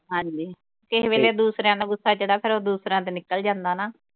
ਹਾਂਜੀ। ਕਿਸੇ ਵੇਲੇ ਦੂਸਰਿਆਂ ਦਾ ਗੁੱਸਾ ਜਿਹੜਾ ਫਿਰ ਉਹ ਦੂਸਰਿਆਂ ਤੇ ਨਿਕਲ ਜਾਂਦਾ ਨਾ।